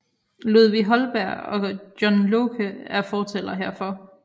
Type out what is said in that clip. Ludvig Holberg og John Locke er fortalere herfor